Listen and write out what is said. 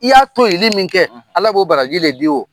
I y'a toyeli min kɛ Ala b'o baraji de di o.